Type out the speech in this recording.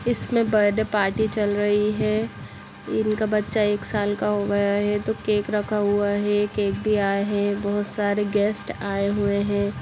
इसमे birthday party चल रही है इनका बच्चा एक साल का हो गया है तो केक रखा हुआ है केक भी आए है बहोत सारे गेस्ट आए हुए है।